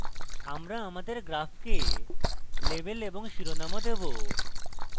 আমরা আমাদের graph label এবং শিরোনামও দেবো